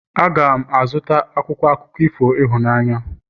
M ga-azụta akwụkwọ akụkọ ifo ịhụnanya